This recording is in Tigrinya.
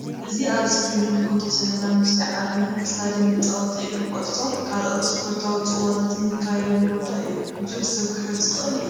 እዚ ኣብ እስክሪን እንምልከቶ ዘለና ምስሊ ዓብይ እስታድየም መጻወቲ እግሪ ኩዕሶ ካልኦት እስፖርታዊ ጽዋታት ዝከየደሉ ቦታ እዩ። ብዙሕ ሰብ ክሕዝ ዝክእል እዩ።